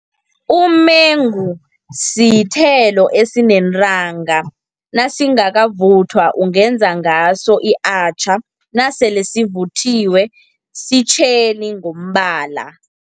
Umengu sithelo esinentanga, nasingakavuthwa ungenza ngaso i-achar, nasele sivuthiwe sitjheli ngombala.